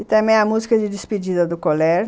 E também a música de despedida do colégio.